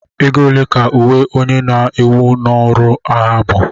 ego ole ka uwe onye na-ewe n'ọrụ agha bu